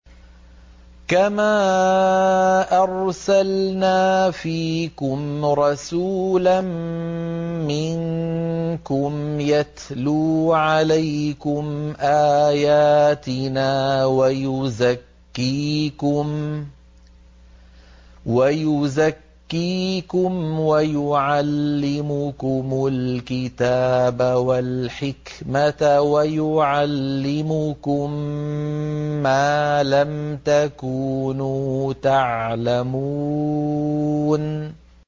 كَمَا أَرْسَلْنَا فِيكُمْ رَسُولًا مِّنكُمْ يَتْلُو عَلَيْكُمْ آيَاتِنَا وَيُزَكِّيكُمْ وَيُعَلِّمُكُمُ الْكِتَابَ وَالْحِكْمَةَ وَيُعَلِّمُكُم مَّا لَمْ تَكُونُوا تَعْلَمُونَ